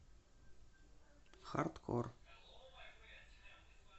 хардкор